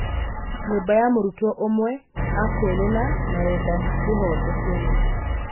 Nyũmba ya mũrutwo ũmwe Akwilina marenda kĩhooto kĩoneke